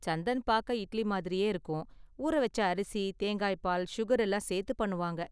சந்தன் பார்க்க இட்லி மாதிரியே இருக்கும், ஊற வெச்ச அரிசி, தேங்காய் பால், சுகர் எல்லாம் சேர்த்து பண்ணுவாங்க.